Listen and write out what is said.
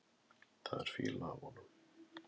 Það er fýla af honum.